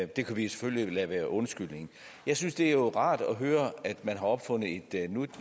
det kan vi selvfølgelig lade være undskyldningen jeg synes det er rart at høre at man har opfundet et